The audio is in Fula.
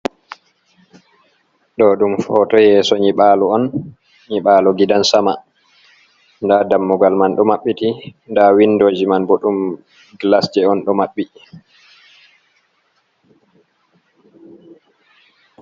Do dum foto yeso nyiɓalo on, nyibalo gidan sama nda dammugal man do mabbiti nda windoji man bo dum glas on do mabbi